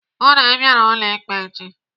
Hụụ na Ị bịara ụlọ ikpe echi!